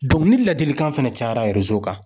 ni ladilikan fɛnɛ cayara kan